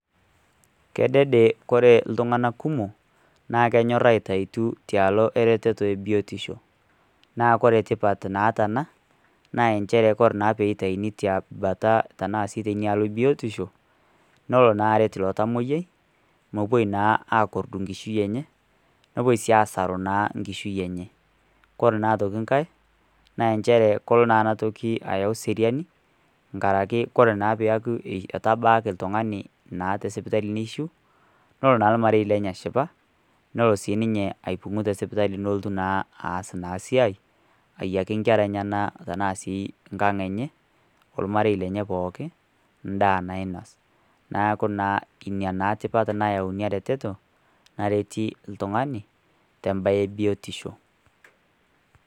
Kedede kore iltung'ana kumok, naa kenyor aitautiu tialo eretoro e biotisho. Naa ore tipat naata ena, naa enchere ore pee eitayuni te bata ashu te inialo e biotisho, nelo naa aret ilo tamwoiyiai, nepuoi naa akordu enkishui enye, nepuoi naa sii asru enkishui enye. Kore naa aitoki nkai, naa nchere elo naa ena toki ayau eseriani, enkaraki kore naa pee eyaku etabaaki oltung'ani naa te sipitali neishu, nelo naa olmarei lenye ashipa nelo naa aipung'u te sipitali nelotui naa aas naa esiai, ayaki inkera enyena tanaa sii nkang' enye , olmarei lenye pooki, ndaa nainos neaku naa ina tipat neyau inia retoto nareti ltung'ani te embae e biotisho.